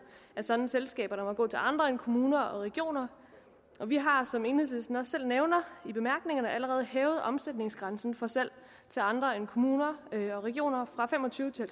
af sådanne selskaber der må gå til andre end kommuner og regioner vi har som enhedslisten også selv nævner i bemærkningerne allerede hævet omsætningsgrænsen for salg til andre end kommuner og regioner fra fem og tyve til